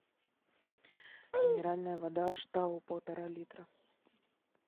минеральная вода аштау полтора литра